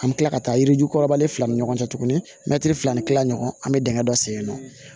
An bɛ tila ka taa yirijukɔrɔbali fila ni ɲɔgɔn cɛ tuguni mɛtiri fila ni kila ɲɔgɔn an mɛ dingɛ dɔ sennɔ